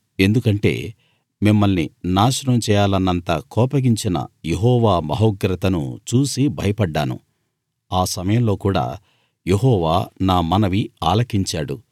ఎందుకంటే మిమ్మల్ని నాశనం చేయాలన్నంత కోపగించిన యెహోవా మహోగ్రతను చూసి భయపడ్డాను ఆ సమయంలో కూడా యెహోవా నా మనవి ఆలకించాడు